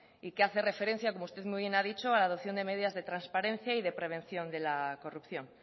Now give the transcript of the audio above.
y que hace referencia como usted muy bien ha dicho a la adopción de medidas de transparencia y de prevención de la corrupción